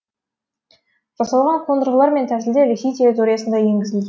жасалған қондырғылар мен тәсілдер ресей территориясында енгізілген